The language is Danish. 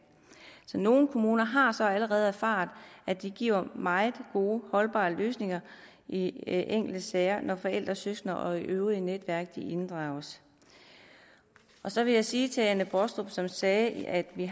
nogle kommuner har så allerede erfaret at det giver meget gode holdbare løsninger i enkelte sager når forældre søskende og det øvrige netværk inddrages så vil jeg sige til fru anne baastrup som sagde at vi